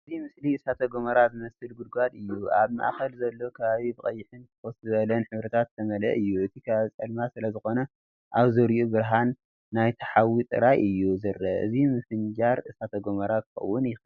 እዚ ምስሊ እሳተ ጎመራ ዝመስል ጕድጓድ እዩ። ኣብ ማእከል ዘሎ ከባቢ ብቐይሕን ፍኹስ ዝበለን ሕብርታት ዝተመልአ እዩ። እቲ ከባቢ ጸልማት ስለዝኾነ ኣብ ዙርያኡ ብርሃን ናይቲ ሓዊ ጥራይ እዩ ዝረአ። እዚ ምፍንጃር እሳተ ጎመራ ክኸውን ይኽእል።